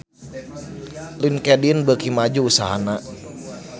Linkedin beuki maju usahana